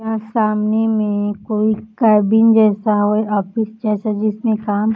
यहाँ सामने में कोई कैबिन जैसा ओय ऑफिस जैसा जिसमें काम --